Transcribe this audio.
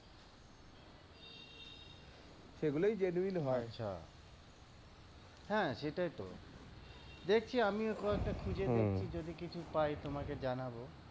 এগুলোই genuine হয় হ্যাঁ, সেটাই তো। দেখছি আমি যদি কিছু পাই তমাকে জানাব।